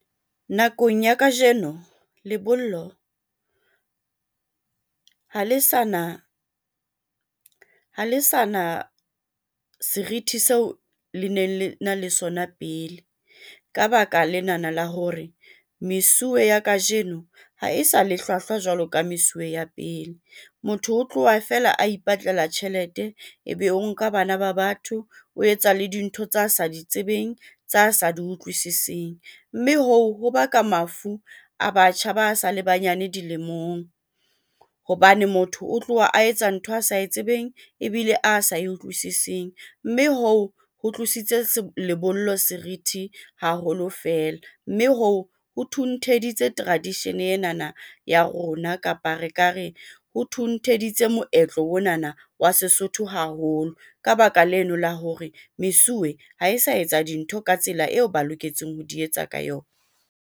Nakong ya kajeno lebollo ha le sa na, ha le sa na serithi seo, le ne le na le sona pele. Ka baka lenana la hore mesuwe ya kajeno ha e sa le hlwahlwa jwalo ka mesuwe ya pele. Motho o tloha feela a ipatlela tjhelete, ebe o nka bana ba batho. O etsa le dintho tsa sa di tsebeng tsa asa di utlwisising, mme hoo ho baka mafu a batjha ba sa le banyane dilemong hobane motho o tloha a etsa ntho a sa e tsebeng ebile a sa e utlwisising. Mme hoo ho tlositse lebollo serithi haholo fela, mme hoo ho thuntheditse tradition enana ya rona kapa re ka re o thuntheditse moetlo onana wa Sesotho haholo ka baka leno la hore mesuwe ha e sa etsa dintho ka tsela eo ba loketseng ho di etsa ka yona.